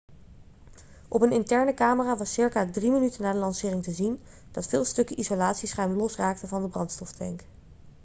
op een interne camera was circa 3 minuten na de lancering te zien dat veel stukken isolatieschuim losraakten van de brandstoftank